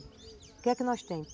O que é que nós temos?